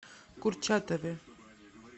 курчатове